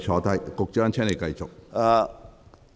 局長，請繼續作答。